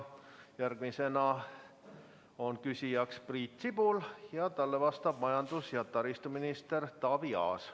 Järgmine küsija on Priit Sibul ja talle vastab majandus- ja taristuminister Taavi Aas.